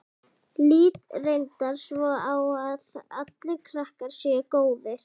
Lít reyndar svo á að allir krakkar séu góðir.